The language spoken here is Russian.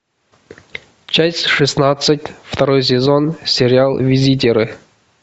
часть шестнадцать второй сезон сериал визитеры